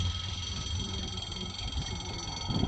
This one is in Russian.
владимир викторович цыгенов